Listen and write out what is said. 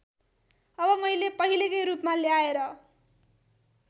अब मैले पहिलेकै रूपमा ल्याएर